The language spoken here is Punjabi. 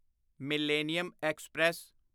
millennium express